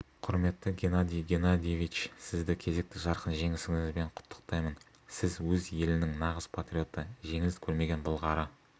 құрметті геннадий геннадиевич сізді кезекті жарқын жеңісіңізбен құттықтаймын сіз өз елінің нағыз патриоты жеңіліс көрмеген былғары